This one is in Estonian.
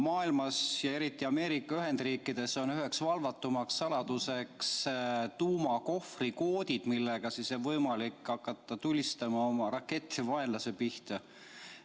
Maailmas ja eriti Ameerika Ühendriikides on üheks valvatumaks saladuseks tuumakohvrikoodid, mille abil on võimalik hakata tulistama oma rakette vaenlase pihta.